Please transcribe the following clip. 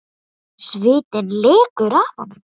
Svitinn lekur af honum.